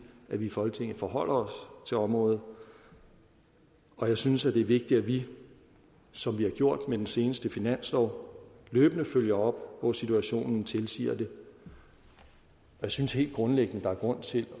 at vi i folketinget forholder os til området og jeg synes det er vigtigt at vi som vi har gjort med den seneste finanslov løbende følger op hvor situationen tilsiger det jeg synes helt grundlæggende der er grund til